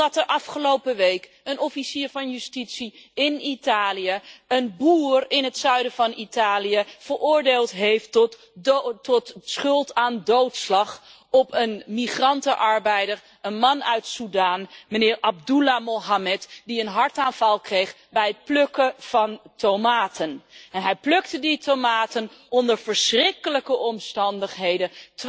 Omdat de afgelopen week een officier van justitie in Italië een boer in het zuiden van Italië veroordeeld heeft tot schuld aan doodslag op een migrantenarbeider, een man uit Sudan, meneer Abdullah Mohammed, die een hartaanval kreeg bij het plukken van tomaten. Hij plukte die tomaten onder verschrikkelijke omstandigheden,